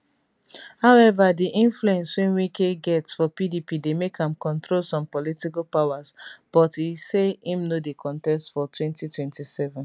howeva di influence wey wike get for pdp dey make am control some political powers but e say im no dey contest for 2027